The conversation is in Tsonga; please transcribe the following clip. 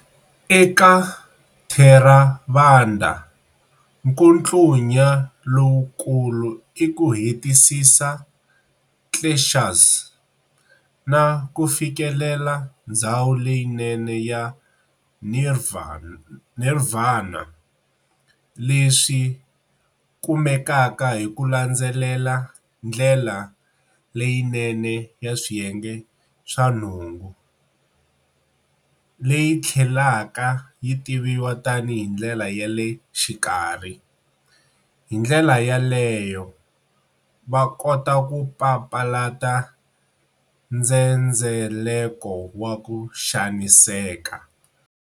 Eka Theravada, nkutlunya lowu kulu iku hetisisa" kleshas" na kufikelela ndzhawu leyi nene ya Nirvana, leswi kumekaka hi ku landzelela ndlela leyi nene ya swiyenge swa nhungu, leyi thlelaka yitiviwa tani hi ndlela yale xikarhi, hindlela yeleyo, vakota ku papalata ndzendzeleko wa ku xaniseka.